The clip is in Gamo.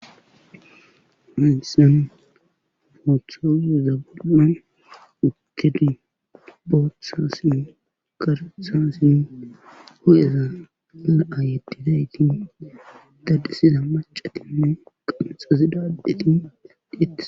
Minisan moothoyezabiman ukedi booththa sin garetha sin ho7eza la7a yeddinayti dadisiza macatinne qamxazidaadeti dadiettes.